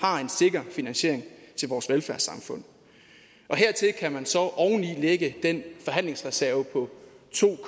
har en sikker finansiering til vores velfærdssamfund og hertil kan man så lægge den forhandlingsreserve på to